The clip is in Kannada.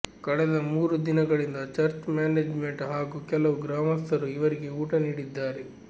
ಕಳೆದ ಮೂರು ದಿನಗಳಿಂದ ಚರ್ಚ್ ಮ್ಯಾನೇಜ್ಮೆಂಟ್ ಹಾಗೂ ಕೆಲವು ಗ್ರಾಮಸ್ಥರು ಇವರಿಗೆ ಊಟ ನೀಡಿದ್ದಾರೆ